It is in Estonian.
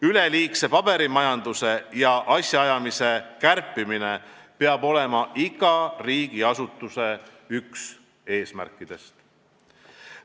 Üleliigse paberimajanduse ja asjaajamise kärpimine peab olema igas riigiasutuses üks eesmärkidest.